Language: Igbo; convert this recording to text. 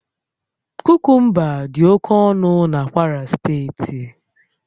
Kukumba dị oke ọnụ na Kwara steeti